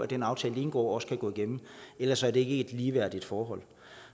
den aftale de indgår også kan gå igennem ellers er det ikke et ligeværdigt forhold